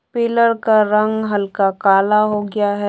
Pillar का रंग हल्का काला हो गया है।